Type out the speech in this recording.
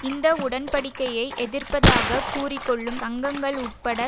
இந்த உடன்படிக்கையை எதிர்ப்பதாக கூறிக்கொள்ளும் சங்கங்கள் உட்பட